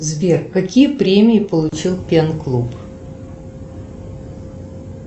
сбер какие премии получил пен клуб